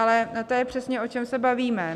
Ale to je přesně, o čem se bavíme.